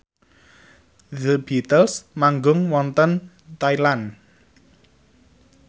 The Beatles manggung wonten Thailand